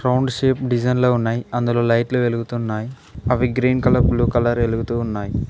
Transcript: Round shape design లాగా ఉన్నాయి అందులో లైట్లు వెలుగుతున్నాయి అవి గ్రీన్ కలర్ బ్లూ కలర్ వెలుగతూ ఉన్నాయి.